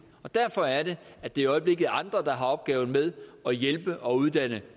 derfor er det at det i øjeblikket andre der har opgaven med at hjælpe og uddanne